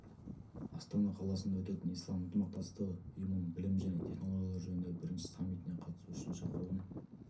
астана қаласында өтетін ислам ынтымақтастығы ұйымының білім және технологиялар жөніндегі бірінші саммитіне қатысу үшін шақыруын